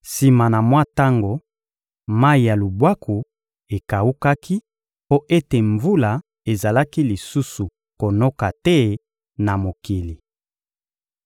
Sima na mwa tango, mayi ya lubwaku ekawukaki mpo ete mvula ezalaki lisusu konoka te na mokili.